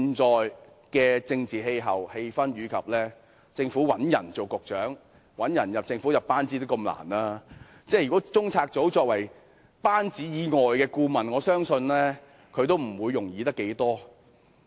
在現時的政治氣氛下，政府找人擔任局長或加入其班子亦甚困難，而中策組屬政府班子以外的顧問，我相信亦不會容易找到人選。